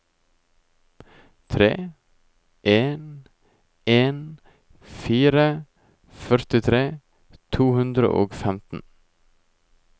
tre en en fire førtitre to hundre og femten